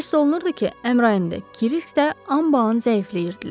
Hiss olunurdu ki, Əmrain də Kirisk də anbaan zəifləyirdilər.